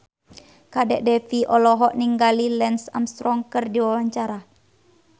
Kadek Devi olohok ningali Lance Armstrong keur diwawancara